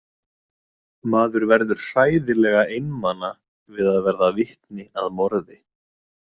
Maður verður hræðilega einmana við að verða vitni að morði.